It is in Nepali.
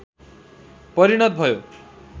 परिणत भयो